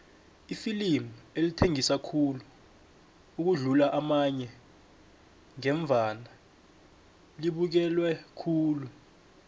iflimu elithengisa khulu ukudlula amanye ngevane libukelwe khulu